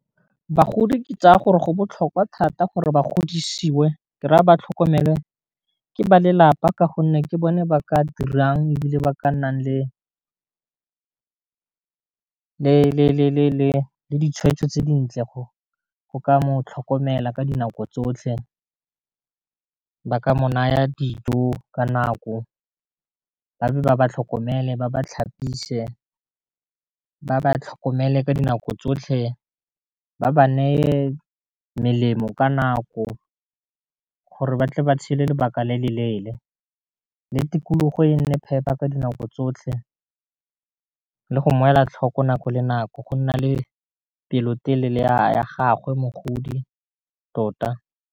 Bagodi ke tsaya gore go botlhokwa thata gore ba godisiwe ke raya ba tlhokomelwe ke ba lelapa, ka gonne ke bone ba ka dirang e bile ba ka nnang le ditshweetso tse dintle go ka mo tlhokomela ka dinako tsotlhe, ba ka mo naya dijo ka nako, ba dule ba tlhokomele ba ba tlhapise, ba ba tlhokomele ka dinako tsotlhe ba ba neye melemo ka nako gore ba tle ba tshele lobaka le le leele, le tikologo e nne phepa ka dinako tsotlhe le go mmoela tlhoko nako le nako go nna le pelotelele ya gagwe mogodi tota.